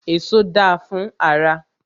Èso da fún ara.